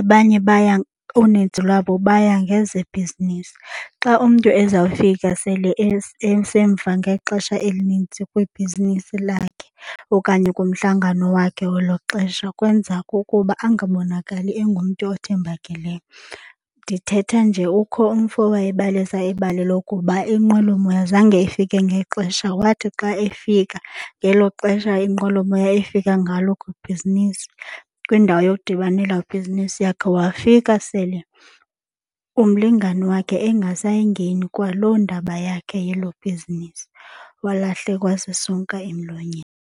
Abanye baya uninzi lwabo baya ngezebhizinisi. Xa umntu ezawufika sele esemva ngexesha elinintsi kwibhizinisi lakhe okanye kumhlangano wakhe welo xesha kwenza kukuba angabonakali engumntu othembakeleyo. Ndithetha nje ukho umfo owayebalisa ibali lokuba inqwelomoya zange ifike ngexesha. Wathi xa efika ngelo xesha inqwelomoya ifika ngalo kwibhizinisi kwindawo yokudibanela ibhizinisi yakhe wafika sele umlingani wakhe engasayingeni kwalo ndaba yakhe yelo bhizinisi, walahlekwa sisonka emlonyeni.